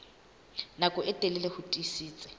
nako e telele ho tiisitse